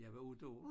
Jeg var 8 år